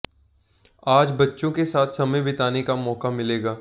आज बच्चों के साथ समय बिताने का मौका मिलेगा